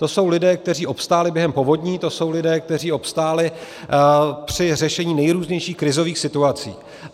To jsou lidé, kteří obstáli během povodní, to jsou lidé, kteří obstáli při řešení nejrůznějších krizových situací.